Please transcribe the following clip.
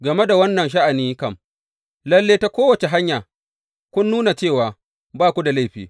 Game da wannan sha’ani kam, lalle ta kowace hanya kun nuna cewa ba ku da laifi.